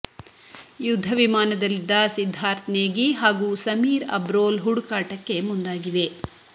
ಯುದ್ಧ ವಿಮಾನದಲ್ಲಿದ್ದ ಸಿದ್ಧಾರ್ಥ್ ನೇಗಿ ಹಾಗೂ ಸಮೀರ್ ಅಬ್ರೋಲ್ ಹುಡುಕಾಟಕ್ಕೆ ಮುಂದಾಗಿವೆ